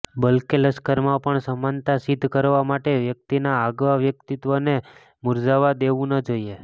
બલકે લશ્કરમાં પણ સમાનતા સિદ્ધ કરવા માટે વ્યક્તિના આગવા વ્યક્તિત્વને મૂરઝાવવા દેવું ન જોઈએ